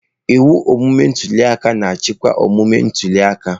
Ịwụ omume ntuli aka na-achịkwa omume ntuli aka.